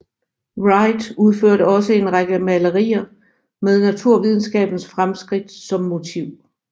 Wright udførte også en række malerier med naturvidenskabens fremskridt som motiv